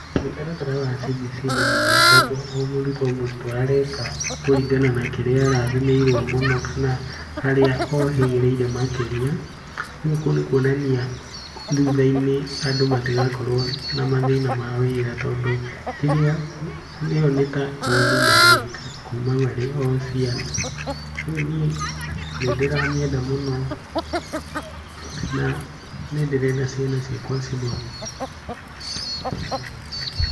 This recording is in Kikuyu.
Mũtaratara wa CBC nĩ mwega tondũ o mũrutwo o mũrutwo areka kũringana na kĩrĩa arathimĩirwo mũno kana harĩa ohĩgĩrĩire makĩria. Rĩu kũu nĩ kũonania thutha-inĩ andũ matigakorwo na mathĩna ma wĩra. Tondũ rĩrĩa ĩyo nĩ ta kothi mareka kuma marĩ o ciana. Rĩu niĩ nĩ ndĩramĩenda mũno na nĩ ndĩrenda ciana ciakwa cithome CBC.